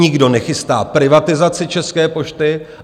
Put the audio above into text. Nikdo nechystá privatizaci České pošty.